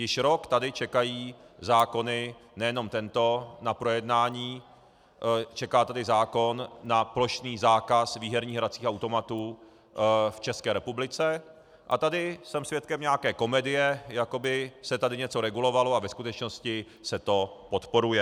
Již rok tady čekají zákony, nejenom tento, na projednání, čeká tady zákon na plošný zákaz výherních hracích automatů v České republice, a tady jsem svědkem nějaké komedie, jako by se tady něco regulovalo, a ve skutečnosti se to podporuje.